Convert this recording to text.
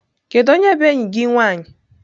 Kedu onye bụ enyi gị nwanyị?